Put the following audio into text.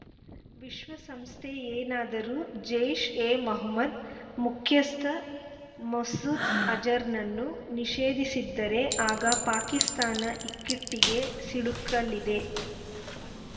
ವಿಶ್ವಸಂಸ್ಥೆಯೇನಾದರೂ ಜೈಷ್‌ಎಮೊಹಮ್ಮದ್‌ ಮುಖ್ಯಸ್ಥ ಮಸೂದ್‌ ಅಜರ್‌ನನ್ನು ನಿಷೇಧಿಸಿದರೆ ಆಗ ಪಾಕಿಸ್ತಾನ ಇಕ್ಕಟ್ಟಿಗೆ ಸಿಲುಕಲಿದೆ